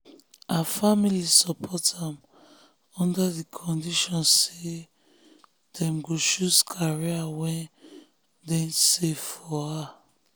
her family support am under the condition say them go choose career wey deysafe for her.